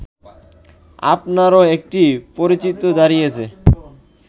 আপনারও একটি পরিচিতি দাঁড়িয়েছে